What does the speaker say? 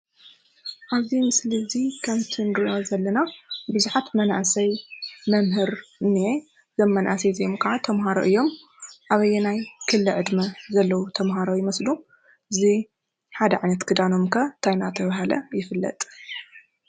ኣብ እዚ ምስሊ እዚ ከምቲ ንሪኦ ዘለና ብዙሓት መናእስይ፣ መምህር እንሄ። እዞም መናእሰይ እዚኦም ከዓ ተማሃሮ እዮም። ኣብ ኣይናይ ክሊ ዕደመ ዘለው ተማሃሮ ዘለው ይመስሉ? እዚ ሓደ ዓይነት ክዳኖም ከ እንታይ እንዳተበሃል ይፍለጥ?